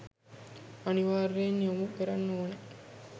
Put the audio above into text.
අනිවාර්යයෙන් යොමු කරන්න ඕන